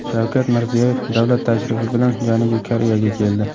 Shavkat Mirziyoyev davlat tashrifi bilan Janubiy Koreyaga keldi.